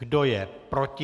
Kdo je proti?